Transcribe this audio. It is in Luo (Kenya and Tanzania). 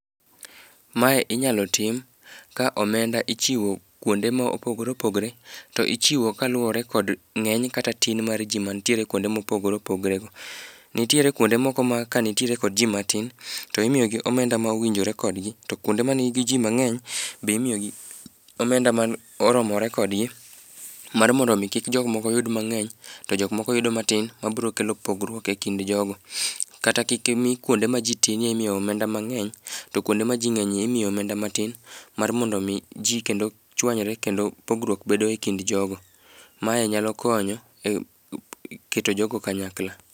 Mae inyalo tim ka omenda ichiwo kwonde mopogore opogore to ichiwo kaluore kod ng'eny kata tin mar ji mantiere kwonde ma opogore opogore go. Nitiere kwonde moko ma ka nitiere kod ji matin, to imiyogi omenda mowinjore kodgi, to kwonde ma nigi ji mang'eny be imiyo gi omenda ma oromore kodgi, mar mondo omi kik jomoko yud mang'eny, to jok moko yudo matin mabro kelo pogruok e kind jogo. Kata kik imi kwonde ma ji tin ye, imiyo omenda mnag'eny, to kwonde ma ji ng'enyye imiyo omenda matin mar mondo omi ji kendo chwanyre, kendo pogruok bedo e kind jogo. Mae nyalo konyo ei keto jogo kanyakla.